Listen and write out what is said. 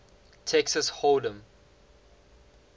texas hold em